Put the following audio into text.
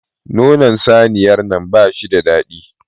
Nonon saniyar nan bashi da daɗi